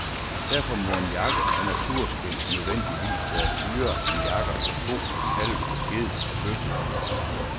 Derfor må en jakke af naturskind nødvendigvis være dyrere end jakker af ko, kalv, ged og bøffel.